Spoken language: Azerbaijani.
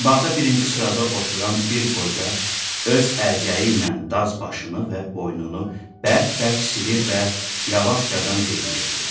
Qabaqda birinci sırada oturan bir qoca öz əlcəyi ilə daz başını və boynunu bərk-bərk silir və yavaşcadan deyinirdi.